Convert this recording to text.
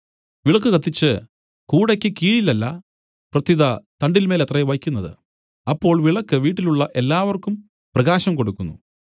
വിളക്കു കത്തിച്ച് കൂടയ്ക്ക് കീഴിലല്ല പ്രത്യുത തണ്ടിന്മേലത്രേ വെയ്ക്കുന്നത് അപ്പോൾ വിളക്ക് വീട്ടിലുള്ള എല്ലാവർക്കും പ്രകാശം കൊടുക്കുന്നു